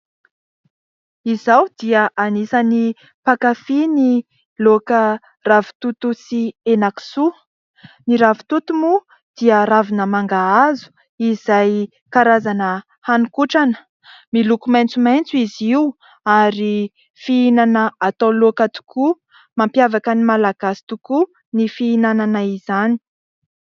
Izaho dia anisan'ny mpakafy ny laoka ravintoto sy henan-kisoa. Ny ravintoto moa dia ravina mangahazo izay karazana haninkotrana. Miloko maitsomaitso izy io ary fihinana atao laoka tokoa. Mampiavaka ny malagasy tokoa ny fihinanana izany.